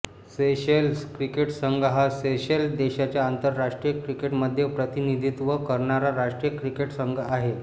Seychelles cricket संघ हा Seychelles देशाचे आंतरराष्ट्रीय क्रिकेटमध्ये प्रतिनिधित्व करणारा राष्ट्रीय क्रिकेट संघ आहे